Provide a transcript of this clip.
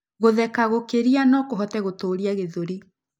Gũtheka gũkĩria nokũhote gũtuuria gĩthũri